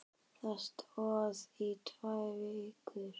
Það stóð í tvær vikur.